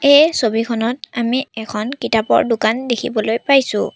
এই ছবিখনত আমি এখন কিতাপৰ দোকান দেখিবলৈ পাইছোঁ।